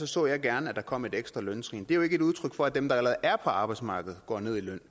så jeg gerne at der kom et ekstra løntrin det er jo ikke et udtryk for at dem der allerede er på arbejdsmarkedet går ned i løn